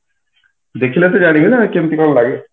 ଦେଖିଲା ପରେ ଜାଣିବି ନା କେମିତି କଣ ଲାଗେ